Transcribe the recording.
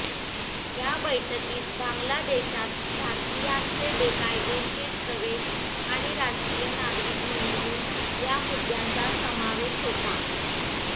या बैठकीत बांगलादेशात भारतीयांचे बेकायदेशीर प्रवेश आणि राष्ट्रीय नागरिक नोंदणी या मुद्द्यांचा समावेश होता